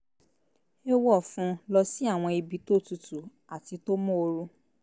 é wọ̀ fún un lọ sí àwọn ibi tó tutu àti tó móoru